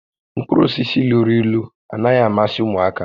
Mkpụrụ osisi luru ílú anaghị amasị ụmụaka